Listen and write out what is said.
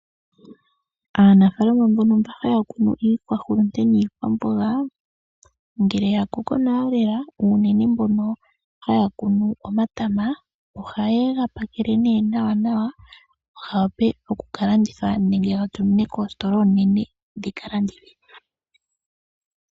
Aanafalama mbono haya kunu iikwahulunde niikwamboga ngele ya koko nawa lela unene mbono haya kunu omatama ohaye ga pakele nawanawa, ga wape oku ka landithwa nenge ga tuminwe koositola oonene dhi ka landithe.